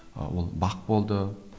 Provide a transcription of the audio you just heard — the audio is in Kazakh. ыыы ол бақ болды